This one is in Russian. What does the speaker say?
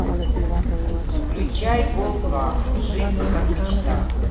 включай гол два жизнь как мечта